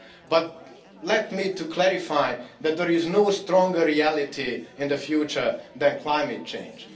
But let me clarify that there is no stronger reality in the future than climate change.